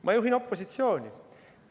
Ma juhin opositsiooni!